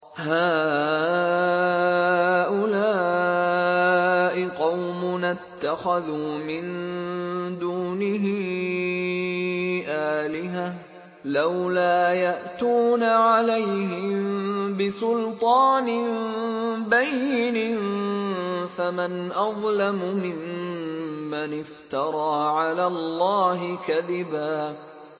هَٰؤُلَاءِ قَوْمُنَا اتَّخَذُوا مِن دُونِهِ آلِهَةً ۖ لَّوْلَا يَأْتُونَ عَلَيْهِم بِسُلْطَانٍ بَيِّنٍ ۖ فَمَنْ أَظْلَمُ مِمَّنِ افْتَرَىٰ عَلَى اللَّهِ كَذِبًا